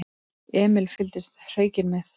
Emil fylgdist hreykinn með.